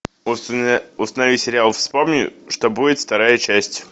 установи сериал вспомни что будет вторая часть